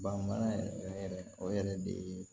Banbana yɛrɛ yɛrɛ o yɛrɛ de ye